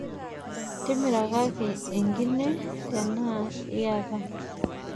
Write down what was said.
Timirakaki enkine tenaa iyata.